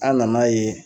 An nan'a ye